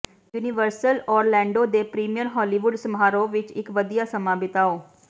universal Orlando ਦੇ premiere Hollywood ਸਮਾਰੋਹ ਵਿੱਚ ਇੱਕ ਵਧੀਆ ਸਮਾਂ ਬਿਤਾਓ